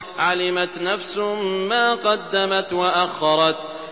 عَلِمَتْ نَفْسٌ مَّا قَدَّمَتْ وَأَخَّرَتْ